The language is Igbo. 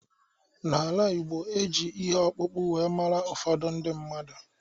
N'ala Ịgbo, e ji ihe ọkpụkpụ wee mara ụfọdụ ndị mmadụ